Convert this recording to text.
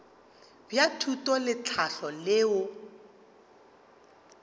bja thuto le tlhahlo leo